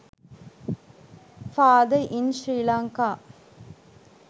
father in sri lanka